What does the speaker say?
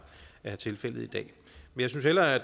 er tilfældet i dag jeg synes hellere at